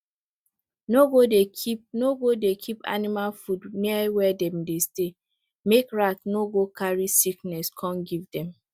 no go dey keep go dey keep animal food near where dem dey stay make rat no go carry sickness come give dem